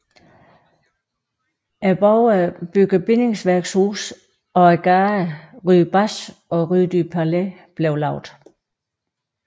Borgerne bygger bindingsværkshuse og gaderne rue Basch og rue du Palais bliver lavet